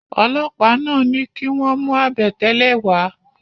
Ọlọ́pàá náà ní kí wọ́n mú àbẹ̀tẹ́lẹ̀ wá